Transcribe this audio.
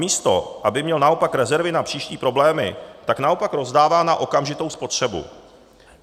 Místo aby měl naopak rezervy na příští problémy, tak naopak rozdává na okamžitou spotřebu.